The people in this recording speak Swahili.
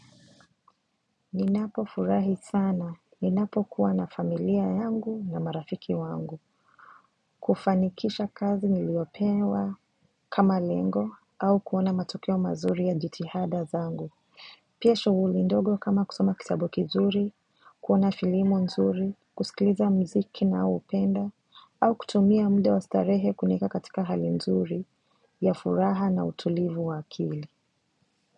Ninapo furahi sana, ninapo kuwa na familia yangu na marafiki wangu kufanikisha kazi niliopewa kama lengo au kuona matokeo mazuri ya jitihada zangu Pia shughuli ndogo kama kusoma kitabu kizuri, kuona filimo nzuri, kusikiliza mziki ninaoupenda au kutumia muda wa starehe kunieka katika hali nzuri ya furaha na utulivu wa akili.